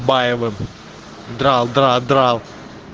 баевым драл дра драл